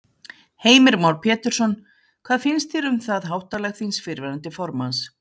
Heimir Már Pétursson: Hvað finnst þér um það háttalag þíns fyrrverandi formanns?